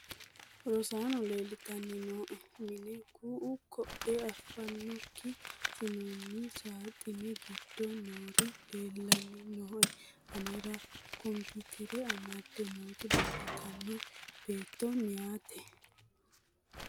rosaano leeltanni nooe mine ku'u koee afannokki assinoonni saaxine gidoonni noori leeelanni nooe anera kompiitere amadde nooti leeltannoe beetto meyate